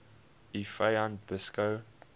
u vyand beskou